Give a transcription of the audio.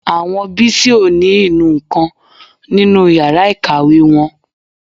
Àwọn Bísí ò ní inú nǹkan nínú yàrá ìkàwé wọn